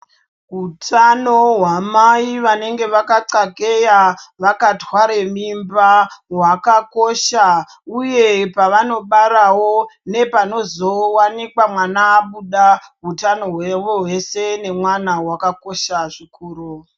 Utano hwamai vanenge vakaxakeya, vakatware mimba hwakakosha uye pavanobarawo nepano zowanikwa mwana abuda utano hwavo vese nemwana hwakakosha zvikuru.